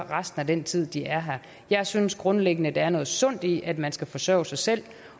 resten af den tid de er her jeg synes der grundlæggende er noget sundt i at man skal forsørge sig selv